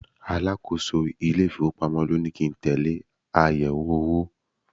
Alákòóso ile-ifowopamo ló ní kí n tẹle àyẹ̀wò owó.